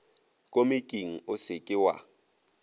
komiking o se ke wa